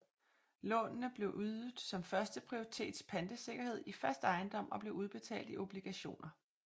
Lånene blev ydet som førsteprioritets pantesikkerhed i fast ejendom og blev udbetalt i obligationer